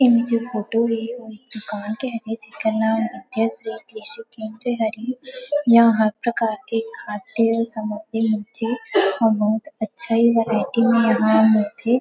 ए जो फोटो हे वो एक दुकान के हरे जेकर नाम यहां हर प्रकार के खाद्य समाग्री मिलथे और बहुत अच्छा ही वेराईटी में यहां मिलथे।